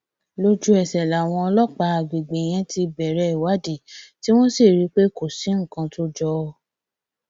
lójúẹsẹ làwọn ọlọpàá àgbègbè yẹn ti bẹrẹ ìwádìí tí wọn sì rí i pé kò sí nǹkan tó jọ ọ